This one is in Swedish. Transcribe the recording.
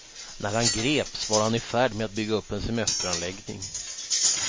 När han greps var han i färd med att bygga upp en semesteranläggning.